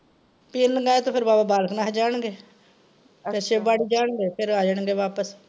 . ਤੇ ਫੇਰ ਬਾਬਾ ਬਾਲਕਨਾਥ ਜਾਣਗੇ ਫੇਰ ਸ਼ਿਵ ਬਾੜੀ ਜਾਣਗੇ, ਫੇਰ ਆ ਜਾਣਗੇ ਵਾਪਿਸ।